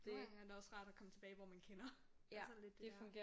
Nogen gange er det også rart at komme tilbage hvor man kender. Det er sådan lidt det er